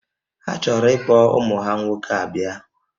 Ha chọrọ ikpọ ụmụ ha nwoke a bịa